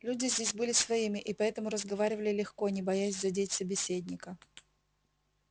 люди здесь были своими и поэтому разговаривали легко не боясь задеть собеседника